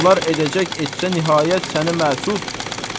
Bunlar edəcək etsə nəhayət səni məsud.